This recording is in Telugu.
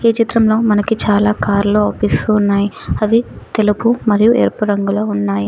ఈ చిత్రంలో మనకి చాలా కార్లు అవుపిస్తు ఉన్నాయి అవి తెలుగు మరియు ఎరుపు రంగులో ఉన్నాయి.